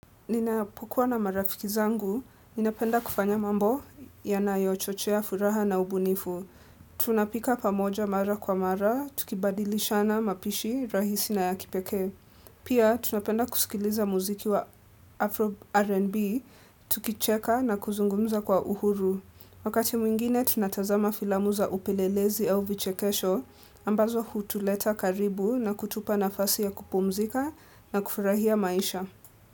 Ninapokua na marafiki zangu, ninapenda kufanya mambo yanayochochea furaha na ubunifu. Tunapika pamoja mara kwa mara, tukibadilishana mapishi, rahisi na ya kipeke. Pia, tunapenda kusikiliza muziki wa Afro R&B, tukicheka na kuzungumza kwa uhuru. Wakati mwingine, tunatazama filamuza upelelezi au vichekesho, ambazo hutuleta karibu na kutupa nafasi ya kupumzika na kufurahia maisha.